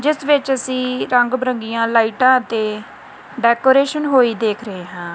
ਜਿੱਸ ਵਿੱਚ ਅੱਸੀ ਰੰਗ ਬਿਰੰਗੀਆਂ ਲਾਈਟਾਂ ਅਤੇ ਦੇ ਡੈਕੋਰੇਸ਼ਨ ਹੋਈ ਦੇਖ ਰਹੇ ਹਾਂ।